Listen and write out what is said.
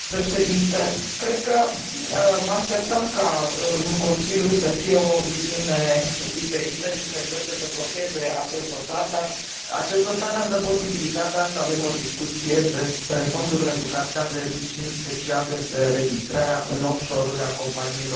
Cred că mă așteptam ca în Consiliu să fie o viziune diferită și ca acesta să încerce să blocheze acest dosar, dar acest dosar ne dă posibilitatea să avem o discuție despre fondurile cu capital de risc și, în special, despre înregistrarea în off shore uri a companiilor europene.